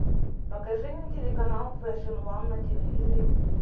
покажи мне телеканал фэшн ван на телевизоре